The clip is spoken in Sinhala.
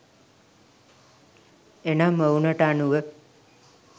එනම් ඔවුනට අනුව